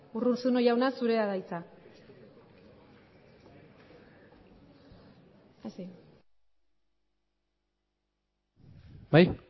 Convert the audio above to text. urruzuno jauna zurea da hitza